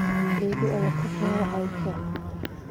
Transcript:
Eedo ayaa ku soo wacaysa.